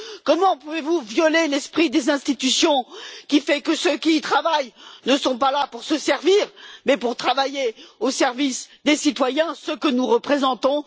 Comment pouvez vous violer l'esprit des institutions qui fait que ceux qui y travaillent ne sont pas là pour se servir mais pour travailler au service des citoyens ceux que nous représentons?